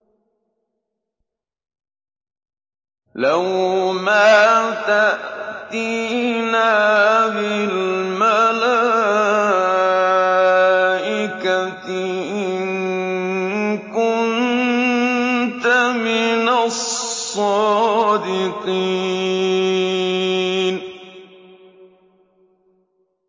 لَّوْ مَا تَأْتِينَا بِالْمَلَائِكَةِ إِن كُنتَ مِنَ الصَّادِقِينَ